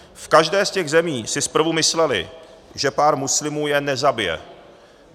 V každé z těch zemí si zprvu mysleli, že pár muslimů je nezabije.